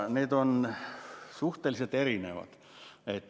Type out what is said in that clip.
Need on suhteliselt erinevad.